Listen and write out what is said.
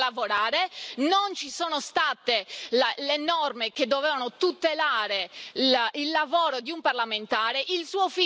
Io non riesco a lavorare, non ci sono state le norme che dovevano tutelare il lavoro di un parlamentare.